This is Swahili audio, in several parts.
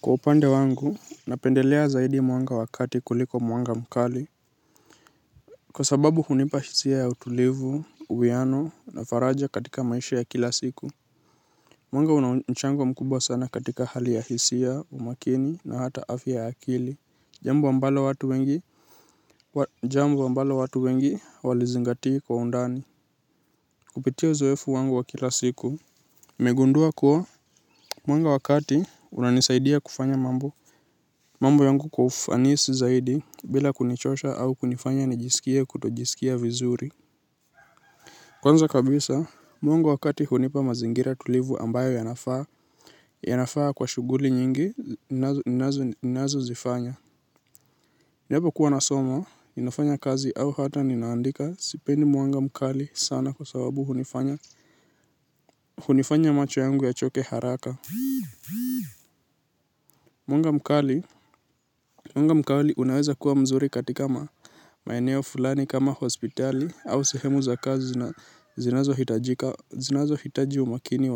Kwa upande wangu, napendelea zaidi mwanga wakati kuliko mwanga mkali kwa sababu hunipa hisia ya utulivu, uwiano, na faraja katika maisha ya kila siku. Mwanga una mchango mkubwa sana katika hali ya hisia, umakini na hata afya ya akili. Jambo ambalo watu wengi, jambo ambalo watu wengi walizingatia kwa undani. Kupitia uzoefu wangu wa kila siku. Nimegundua kuwa, mwanga wa kati unanisaidia kufanya mambo mambo yangu kwa ufanisi zaidi bila kunichosha au kunifanya nijisikie kutojisikia vizuri. Kwanza kabisa, mwanga wa kati hunipa mazingira tulivu ambayo yanafaa yanafaa kwa shughuli nyingi, ninazozifanya. Ninapokuwa nasoma, ninafanya kazi au hata ninaandika sipendi mwanga mkali sana kwa sababu hunifanya. Hunifanya macho yangu yachoke haraka. Mwanga mkali unaweza kuwa mzuri katika maeneo fulani kama hospitali au sehemu za kazi zinazohitaji umakini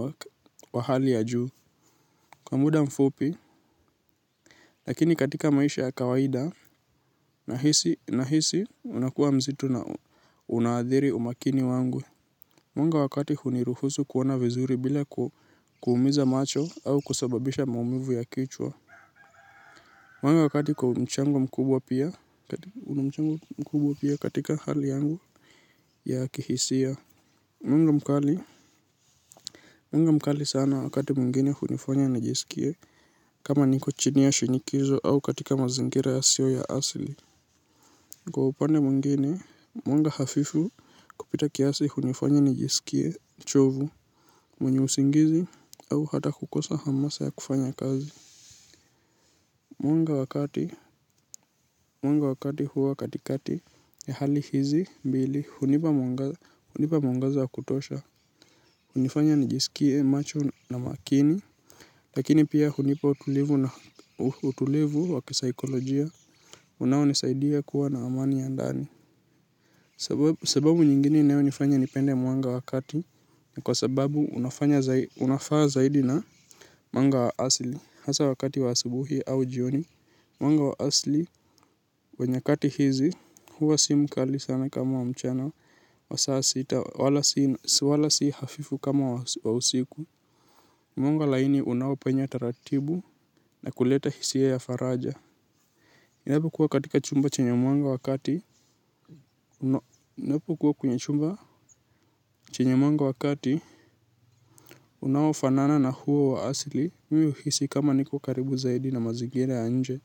wa hali ya juu. Kwa muda mfupi, lakini katika maisha ya kawaida nahisi unakuwa mzito na unaadhiri umakini wangu. Mwanga wa kati huniruhusu kuona vizuri bila kuumiza macho au kusababisha maumivu ya kichwa. Mwanga wa kati kwa mchango mkubwa pia, katika hali yangu ya kihisia. Mwanga mkali, mwanga mkali sana wakati mwingine hunifanya nijisikie, kama niko chini ya shinikizo au katika mazingira yasiyo ya asili. Kwa upande mwingine, mwanga hafifu kupita kiasi hunifanya nijisikie uchovu, mwenye usingizi au hata kukosa hamasa ya kufanya kazi. Mwanga wa kati huwa katikati ya hali hizi, mbili, hunipa mwangaza wa kutosha, hunifanya nijisikie macho na makini, lakini pia hunipa utulivu wa kisaikolojia, unaonisaidia kuwa na amani ya ndani. Sababu nyingine inayonifanya nipende mwanga wa kati, ni kwa sababu unafaa zaidi na mwanga wa asili. Hasa wakati wa asubuhi au jioni. Mwanga wa asili. Wa nyakati hizi huwa si mkali sana kama wa mchana. Wa saa sita wala si hafifu kama wa usiku. Mwanga laini unaopenya taratibu na kuleta hisia ya faraja. Inapokuwa katika chumba chenye mwanga wa kati. Inapokuwa kwenye chumba chenye mwanga wa kati. Unaofanana na huo wa asili. Mimi huhisi kama niko karibu zaidi na mazingira ya nje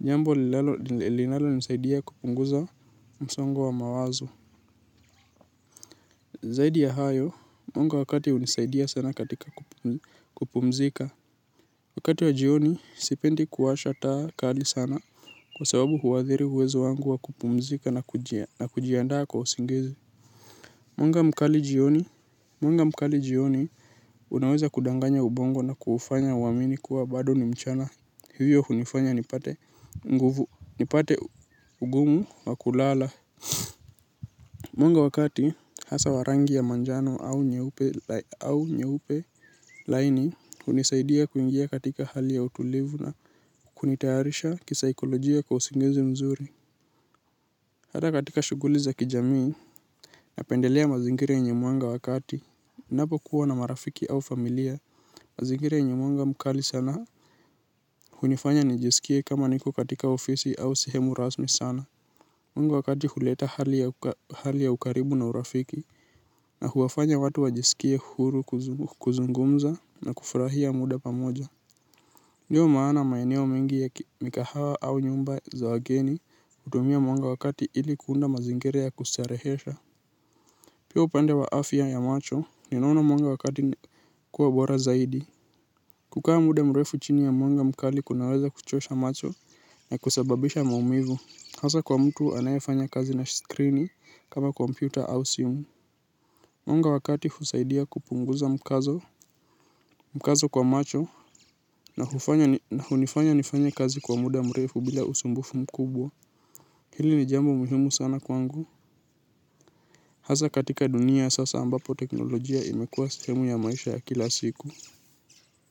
jambo linalonisaidia kupunguza msongo wa mawazo. Zaidi ya hayo, mwanga wa kati hunisaidia sana katika kupumzika. Wakati wa jioni, sipendi kuwasha taa kali sana kwa sababu huadhiri uwezo wangu wa kupumzika na kujiandaa kwa usingizi. Mwanga mkali jioni, mwanga mkali jioni, unaweza kudanganya ubongo na kuufanya uamini kuwa bado ni mchana. Hivyo hunifanya nipate nguvu nipate ugumu wa kulala. Mwanga wa kati hasa wa rangi ya manjano au nyeupe laini hunisaidia kuingia katika hali ya utulivu na kunitayarisha kisaikolojia kwa usingizi mzuri. Hata katika shughuli za kijamii napendelea mazingira yenye mwanga wa kati napo kuwa na marafiki au familia. Mazingira yenye mwanga mkali sana. Hunifanya nijisikie kama niko katika ofisi au sehemu rasmi sana Mungu wakati huleta hali ya ukaribu na urafiki na huwafanya watu wajisikie huru kuzungumza na kufurahia muda pamoja. Ndiyo maana maeneo mengi ya mikahawa au nyumba za wageni. Hutumia mwanga wa kati ili kuunda mazingira ya kustarehesha. Pia upande wa afya ya macho ninaona mwanga wa kati kuwa bora zaidi. Kukaa muda mrefu chini ya mwanga mkali kunaweza kuchosha macho na kusababisha maumivu, hasa kwa mtu anayefanya kazi na skrini kama kompyuta au simu mwanga wakati husaidia kupunguza mkazo. Mkazo kwa macho na hunifanya nifanye kazi kwa muda mrefu bila usumbufu mkubwa. Hili ni jambo muhimu sana kwangu. Hasa katika dunia sasa ambapo teknolojia imekuwa sehemu ya maisha ya kila siku.